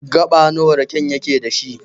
Gaɓa nawa raken yake da shi.